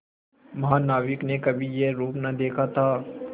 महानाविक ने कभी यह रूप न देखा था